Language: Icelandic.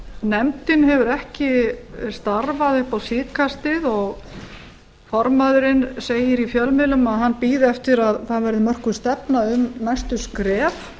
nefndin hefur ekki starfað upp á síðkastið og formaðurinn segir í fjölmiðlum að hann bíði eftir að það verði mörkuð stefna um næstu skref